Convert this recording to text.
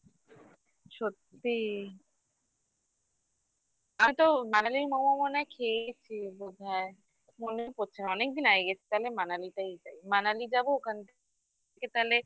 সত্যি আমি তো বাঙালির momo মনে হয় খেয়েইছি বোধহয় মনে পড়ছে না অনেকদিন আগে গেছি তাহলে Manali তেই যাই Manali যাবো ওখান থেকে তাহলে